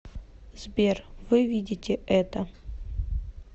сбер вы видите это